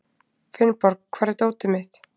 Finnborg, hvar er dótið mitt?